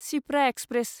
Shipra express